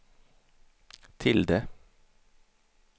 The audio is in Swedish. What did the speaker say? tilde